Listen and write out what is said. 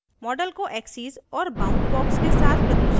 image को axes axes और bound box के साथ प्रदर्शित करना और